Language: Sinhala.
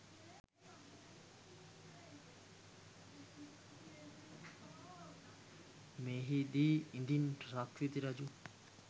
එහිදී ඉදින් සක්විති රජු